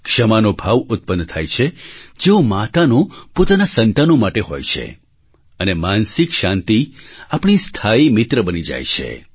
ક્ષમાનો ભાવ ઉત્પન્ન થાય છે જેવો માતાનો પોતાનાં સંતાનો માટે હોય છે અને માનસિક શાંતિ આપણી સ્થાયી મિત્ર બની જાય છે